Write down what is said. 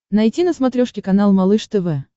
найти на смотрешке канал малыш тв